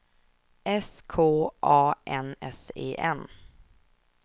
S K A N S E N